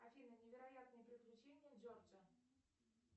афина невероятные приключения джорджа